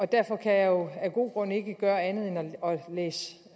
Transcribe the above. derfor kan jeg jo af gode grunde ikke gøre andet end